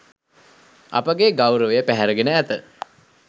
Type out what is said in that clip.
අපගේ ගෞරවය පැහැරගෙන ඇත.